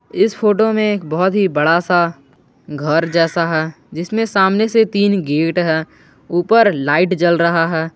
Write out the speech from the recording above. इस फोटो में एक बहुत ही बड़ा सा घर जैसा है जिसमें सामने से तीन गेट है ऊपर लाइट जल रहा है।